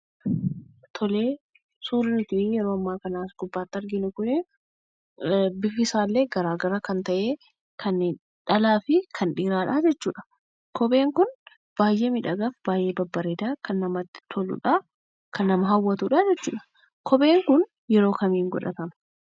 Tole suurri nuti yeroo ammaa kana as gubbaarratti arginu kunii bifti isaallee gara gara kan ta'e, kan dhalaa fi kan dhiiraadhaa jechuudha. Kopheen Kun baay'ee miidhagaa, baay'ee babbareedaa fi kan namatti toluu fi haawwatudha jechuudha. Kopheen kanu yeroo akkamii godhatama?